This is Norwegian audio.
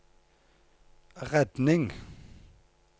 redning